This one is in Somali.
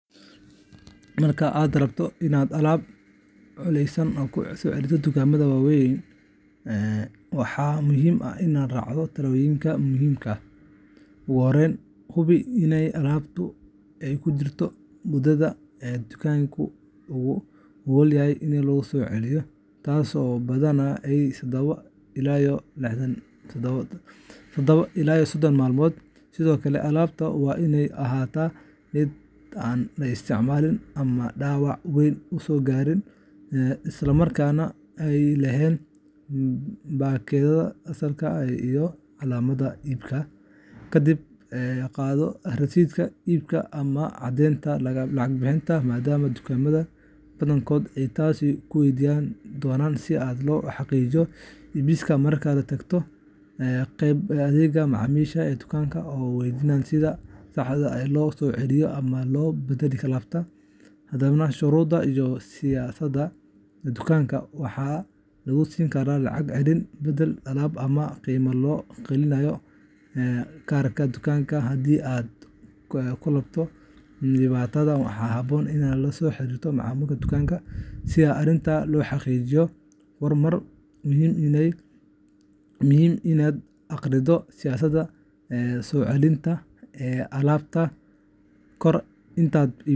Marka aad rabto inaad alaab culladaysan ku soo celiso dukaamada waaweyn, waxaa muhiim ah inaad raacdo tallaabooyin muhiim ah. Ugu horreyn, hubi in alaabtaadu ay ku jirto muddada uu dukaanku oggol yahay in la soo celiyo, taas oo badanaa ah todoba ilaa sodon maalmood. Sidoo kale, alaabta waa inay ahaataa mid aan la isticmaalin ama dhaawac weyn uusan gaarin, isla markaana ay leedahay baakadeeda asalka ah iyo calaamadaha iibka. Kadib, qaado rasiidka iibka ama caddeynta lacag bixinta, maadaama dukaamada badankood ay taasi ku waydiin doonaan si loo xaqiijiyo iibsiga. Markaas, tag qaybta adeegga macaamiisha ee dukaanka oo weydii sida saxda ah ee loo soo celiyo ama loo beddelo alaabta. Hadba shuruudaha iyo siyaasadda dukaanka, waxaa lagu siin karaa lacag celin, beddel alaab, ama qiime loo geliyo kaarka dukaanka. Haddii aad la kulanto wax dhibaato ah, waxaa haboon inaad la xiriirto maamulka dukaanka si arrinta loo xalliyo. Mar walba waa muhiim inaad akhrido siyaasadda soo celinta alaabta kahor intaadan iibsan.